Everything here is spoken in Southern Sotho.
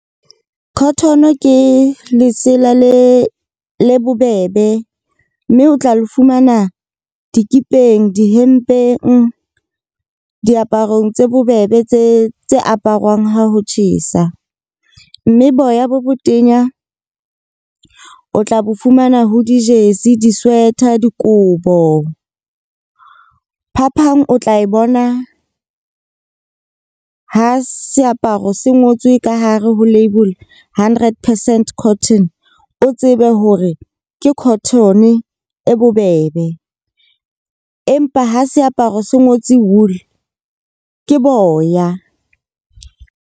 Cotton-o ke lesela le bobebe. Mme o tla le fumana dikipeng, dihempeng, diaparong tse bobebe tse aparwang. Ha ho tjhesa, mme boya bo botenya o tla bo fumana ho di-jersey, di-sweater, dikobo. Phapang o tla e bona ha seaparo se ngotswe ka hare ho labole hundred percent cotton. O tsebe hore ke cotton-o e bobebe. Empa ha seaparo se ngotswe wool ke boya.